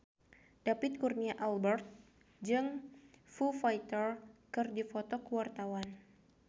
David Kurnia Albert jeung Foo Fighter keur dipoto ku wartawan